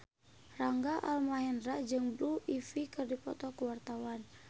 Rangga Almahendra jeung Blue Ivy keur dipoto ku wartawan